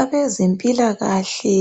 Abezempilakahle